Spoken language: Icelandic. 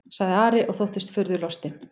sagði Ari og þóttist furðulostinn.